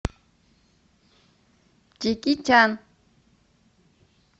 джеки чан